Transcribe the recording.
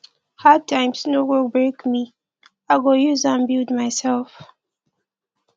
hard times no go break me i go use am build mysef